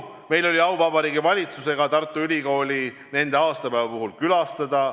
Meil oli au Vabariigi Valitsusega Tartu Ülikooli nende aastapäeva puhul külastada.